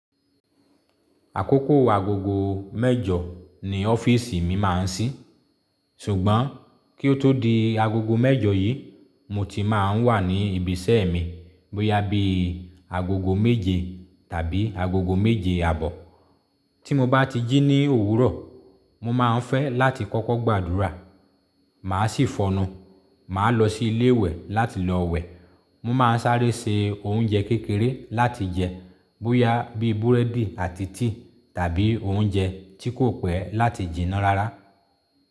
Àkókò agogo mẹ́jọ ni ọ́fíìsì mi máa ń sí. Ṣùgbọ́n kí ó tó di agogo mẹ́jọ yí, mo ti máa ń wà ní ibi iṣẹ́ mi bóyá bí agogo méje tàbí agogo méje àbọ̀. Tí mo bá ti jí ní òwúrọ̀, mo máa ń fẹ́ láti kọ́kọ́ gbàdúrà, màá sì fọnú, màá lọ sí ilé ìwẹ̀ láti lọ wẹ̀. Mo máa ń sáré se oúnjẹ kékeré láti jẹ bóyá bí búrẹ́dì àti tíì tàbí oúnjẹ tí kò pẹ́ láti jìnnà rárá.